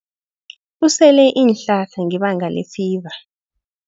Usele iinhlahla ngebanga lefiva.